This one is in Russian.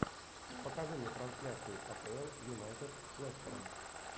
покажи мне трансляцию апл юнайтед с лестером